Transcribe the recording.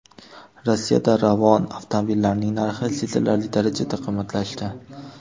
Rossiyada Ravon avtomobillarining narxi sezilarli darajada qimmatlashdi.